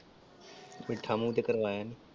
ਮੀਠਾ ਮੂੰਹ ਤੇ ਕਰਵਾਇਆ ਨੀ ।